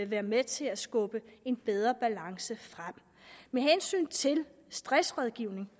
være med til at skubbe en bedre balance frem med hensyn til stressrådgivning